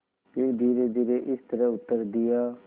फिर धीरेधीरे इस तरह उत्तर दिया